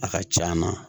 A ka c'an na